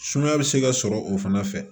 Sumaya bɛ se ka sɔrɔ o fana fɛ